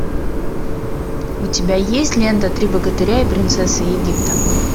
у тебя есть лента три богатыря и принцесса египта